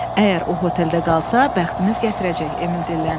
Əgər o hotelə qalsa, bəxtimiz gətirəcək, Emil dilləndi.